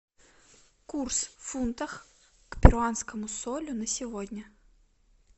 курс в фунтах к перуанскому солю на сегодня